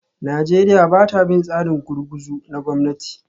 Najeriya ba ta bin tsarin gurguzu na gwamnati